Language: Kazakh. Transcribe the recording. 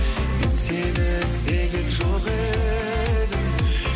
мен сені іздеген жоқ едім